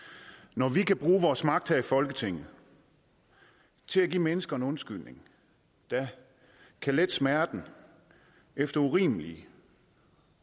når vi kan bruge vores magt her i folketinget til at give mennesker en undskyldning der kan lette smerten efter urimelige